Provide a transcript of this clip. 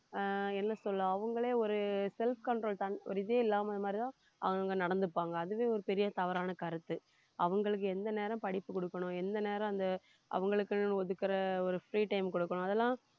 ஆஹ் என்ன சொல்ல அவங்களே ஒரு self control தன் ஒரு இதே இல்லாம இந்த மாதிரிதான் அவங்க நடந்துப்பாங்க அதுவே ஒரு பெரிய தவறான கருத்து அவங்களுக்கு எந்த நேரம் படிப்பு குடுக்கணும் எந்த நேரம் அந்த அவங்களுக்கு ஒதுக்குற ஒரு free time கொடுக்கணும் அதெல்லாம்